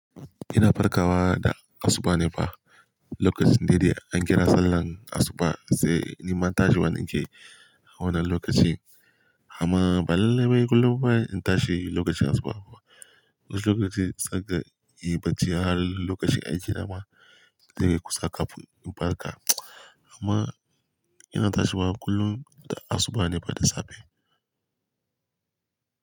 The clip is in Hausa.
Ina farkawa da asuba ne fa. Lokacin dai dai an kira salan asuba sai ni ma tashiwa nake a wannan lokacin. Amma ba lallai wai kullum ba in tashi lokacin asuba ba. Wani lokaci zan gan in yi bacci har lokacin aiki na ma, zai kai kusa kafin in farka. Amma ina tashiwa kullum da asuba ne fa da safe.